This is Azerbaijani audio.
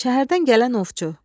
Şəhərdən gələn ovçu.